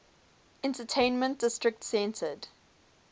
entertainment district centered